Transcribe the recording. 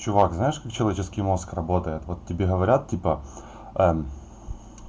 чувак знаешь как человеческий мозг работает вот тебе говорят типа ээ м